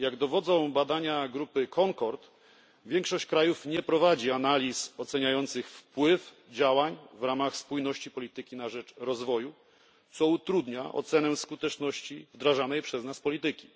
Jak dowodzą badania grupy CONCORD, większość krajów nie prowadzi analiz oceniających wpływ działań w ramach spójności polityki na rzecz rozwoju, co utrudnia ocenę skuteczności wdrażanej przez nas polityki.